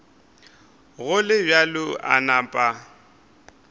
go le bjalo a napa